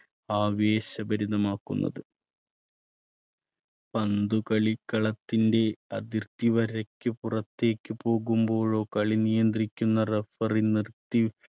ആവേശഭരിതമാക്കുന്നത്. പന്ത് കളിക്കളത്തിന്റെ അതിർത്തി വരയ്ക്ക് പുറത്തേക്ക് പോകുമ്പോഴോ കളി നിയന്ത്രിക്കുന്ന referee നിർത്തി